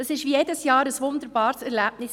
Es war wie jedes Jahr ein wunderbares Erlebnis.